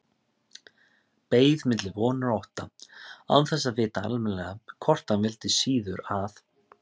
Beið milli vonar og ótta, án þess að vita almennilega hvort hann vildi síður að